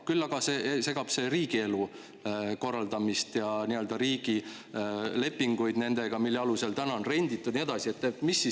Küll aga segab see riigielu korraldamist ja riigi lepinguid, mille alusel on neile renditud ja nii edasi.